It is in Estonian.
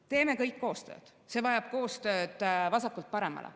Teeme kõik koostööd, see vajab koostööd vasakult paremale.